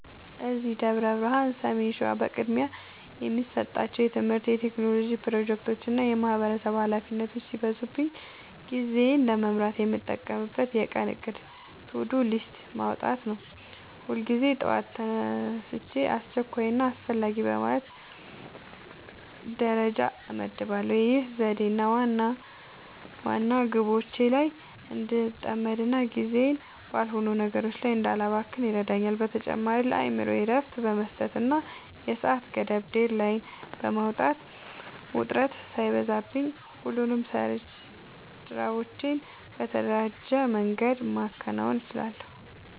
እዚህ ደብረ ብርሃን (ሰሜን ሸዋ) በቅድሚያ የምሰጣቸው የትምህርት፣ የቴክኖሎጂ ፕሮጀክቶችና የማህበረሰብ ኃላፊነቶች ሲበዙብኝ ጊዜዬን ለመምራት የምጠቀመው የቀን እቅድ (To-Do List) ማውጣትን ነው። ሁልጊዜ ጠዋት ተግባራቶቼን አስቸኳይና አስፈላጊ በማለት ደረጃ እመድባቸዋለሁ። ይህ ዘዴ ዋና ዋና ግቦቼ ላይ እንድጠመድና ጊዜዬን ባልሆኑ ነገሮች ላይ እንዳላባክን ይረዳኛል። በተጨማሪም ለአእምሮዬ እረፍት በመስጠትና የሰዓት ገደብ (Deadline) በማስቀመጥ፣ ውጥረት ሳይበዛብኝ ሁሉንም ስራዎቼን በተደራጀ መንገድ ማከናወን እችላለሁ።